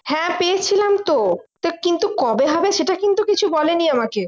হ্যাঁ পেয়েছিলাম তো তা কিন্তু কবে হবে সেটা কিন্তু কিছু বলেনি আমাকে